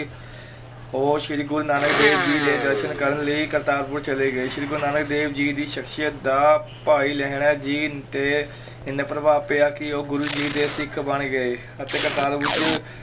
ਉਹ ਸ੍ਰੀ ਗੁਰੂ ਨਾਨਕ ਦੇਵ ਜੀ ਦੇ ਦਰਸ਼ਨ ਕਰਨ ਲਈ ਕਰਤਾਰਪੁਰ ਚਲੇ ਗਏ, ਸ੍ਰੀ ਗੁਰੂ ਨਾਨਕ ਦੇਵ ਜੀ ਦੀ ਸ਼ਖਸੀਅਤ ਦਾ ਭਾਈ ਲਹਿਣਾ ਜੀ ਤੇ ਇੰਨਾ ਪ੍ਰਭਾਵ ਪਿਆ ਕਿ ਉਹ ਗੁਰੂ ਜੀ ਦੇ ਸਿੱਖ ਬਣ ਗਏ ਅਤੇ